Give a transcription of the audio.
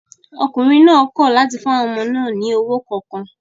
Ọkùnrin náà kọ̀ láti fún àwọn ọmọ náà ní owó kankan